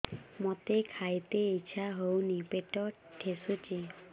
ମୋତେ ଖାଇତେ ଇଚ୍ଛା ହଉନି ପେଟ ଠେସୁଛି